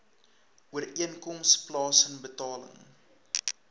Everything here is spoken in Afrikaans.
ooreenkoms plaasen betaling